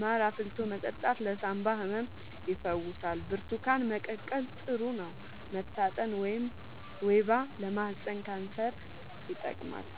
ማር አፍልቶ መጠጣት ለሳንባ ህመም ይፈውሳል ብርቱካን መቀቀል ጥሩ ነው መታጠን ወይባ ጭስ ለማህፀን ካንሰር ይጠቅማል